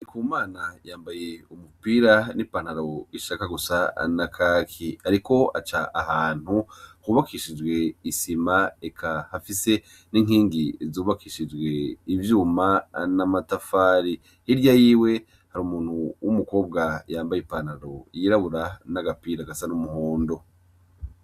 Ku mana yambaye umupira n'i pantaro ishaka gusa anakaki, ariko aca ahantu hubakishijwe isima eka hafise n'inkingi zubakishijwe ivyuma namatafari hirya yiwe hari umuntu w'umukobwa yambaye i pantalo yirabura n'agapira agasa n'umuka mundo.